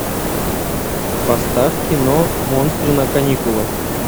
поставь кино монстры на каникулах